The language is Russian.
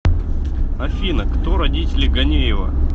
афина кто родители ганеева